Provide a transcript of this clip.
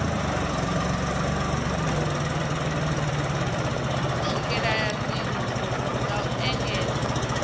swikelela dzinnu nga u ekedza